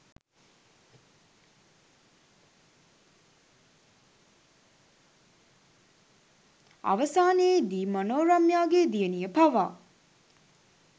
අවසානයේදී මනෝරම්‍යාගේ දියණිය පවා